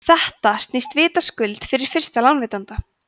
þetta snýst vitaskuld við fyrir lánveitanda